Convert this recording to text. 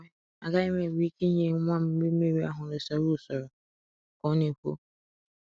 Agaghị m enwe ike ịnye nwa m nri mmiri ahụ n’usoro ka ọ na-ekwu.